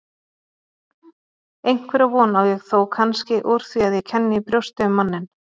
Einhverja von á ég þó kannski úr því að ég kenni í brjósti um manninn.